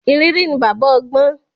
Ìrírí ni baba ọgbọ́n.